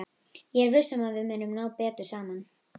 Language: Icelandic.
Ég er viss um að við munum ná betur saman.